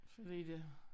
Fordi det